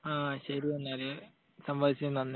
ആ ശരി എന്നാൽ. സംവദിച്ചതിനു നന്ദി.